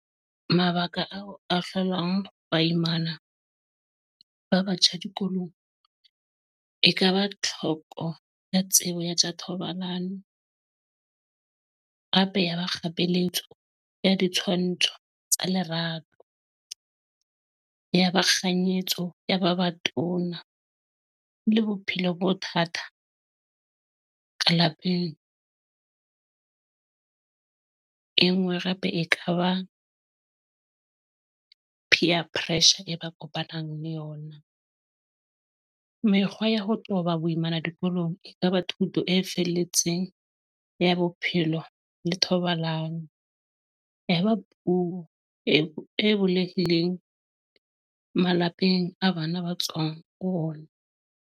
Mabaka ao a hlolang ba imana ba batjha dikolong, ekaba tlhoko ya tsebo ya tja thobalano. Cape Yaba kgapeletjo ya ditshwantsho tsa lerato ng. Yaba kganyetso ya ba batona le bophelo bothata ka lapeng. E nngwe hape ekaba peer pressure e ba kopanang le yona. Mekgwa ya ho qoba boimana dikolong ekaba thuto e felletseng ya bo bophelo le thobalano, e ba puo e bulehileng malapeng e bana ba tswang ho ona.